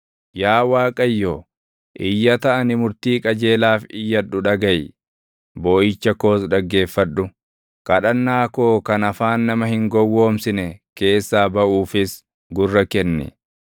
Yaa Waaqayyo, iyyata ani murtii qajeelaaf iyyadhu dhagaʼi; booʼicha koos dhaggeeffadhu. Kadhannaa koo kan afaan nama hin gowwoomsine keessaa baʼuufis gurra kenni.